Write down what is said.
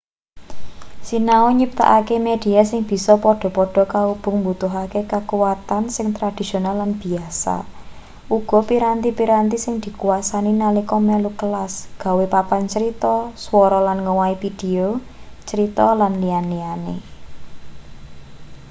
sinau nyiptakke media sing bisa padha-padha kaubung mbutuhake kakuwatan sing tradisional lan biyasa uga piranti-piranti sing dikuwasani nalika melu kelas gawe papan crita swara lan ngowahi pideo crita lan liya-liyane.